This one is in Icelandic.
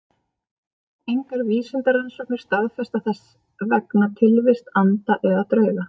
Engar vísindarannsóknir staðfesta þess vegna tilvist anda eða drauga.